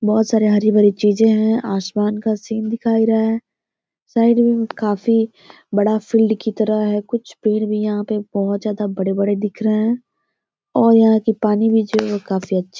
बहुत सारी हरी भरी चीज़ें हैं। आसमान का सीन दिखाई रहा है। साइड में बहुत काफी बड़ा फील्ड की तरह है कुछ पेड़ भी हैं जो बहुत ज़्यादा बड़े बड़े दिख रहे हैं और यहाँ की पानी भी जो है काफी अच्छी है।